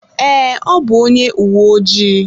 Ee, ọ bụ onye uwe ojii.